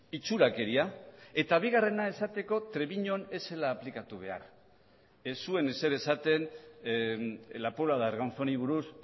itxurakeria eta bigarrena esateko trebiñun ez zela aplikatu behar ez zuen ezer esaten la puebla de arganzóni buruz